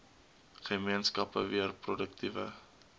gemeenskappe weer produktiewe